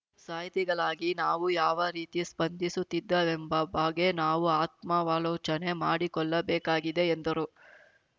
ಸಾಹಿತಿಗಳಾಗಿ ನಾವು ಯಾವ ರೀತಿ ಸ್ಪಂದಿಸುತ್ತಿದ್ದೇವೆಂಬ ಬಾಗೆ ನಾವು ಆತ್ಮಾವಲೋಚನೆ ಮಾಡಿಕೊಳ್ಳಬೇಕಾಗಿದೆ ಎಂದರು